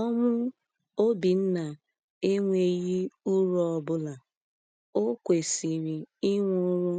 Ọnwụ Obinna enweghi uru ọbụla; o kwesịrị ịnwụrụ